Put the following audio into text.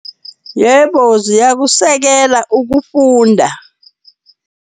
Yebo, ziyakusekela ukufunda.